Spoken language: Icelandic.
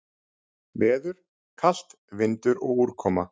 Veður: Kalt, vindur og úrkoma.